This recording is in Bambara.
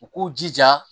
U k'u jija